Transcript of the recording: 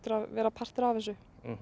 að vera partur af þessu